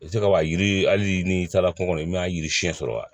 I bɛ se ka yiri hali n'i taara kungo kɔnɔ i ma yiri siɲɛ sɔrɔ wa